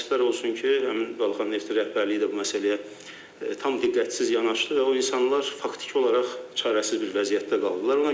Təəssüflər olsun ki, həmin Balaxanı Neftin rəhbərliyi də bu məsələyə tam diqqətsiz yanaşdı və o insanlar faktiki olaraq çarəsiz bir vəziyyətdə qaldılar.